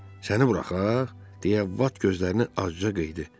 Səni buraxaq? - deyə Vat gözlərini acıca qıydı.